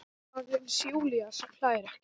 Aðeins Júlía sem hlær ekki.